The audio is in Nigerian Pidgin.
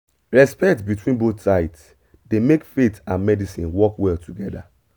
respect between both sides dey make faith and medicine work well together